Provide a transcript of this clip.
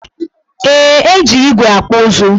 Ee, e ji igwe akpụ ụzụ.